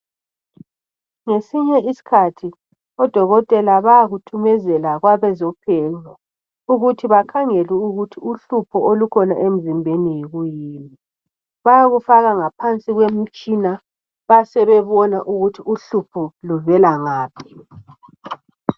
Ngesinye isikhathi odokotela bayakuthumezela kwabezophenyo. Ukuthi bakhangele ukuthi uhlupho olukhona emzimbeni yikuyini. Bayakufaka ngaphansi kwemitshina besebona ukuthi uhlupho luvela ngaphi.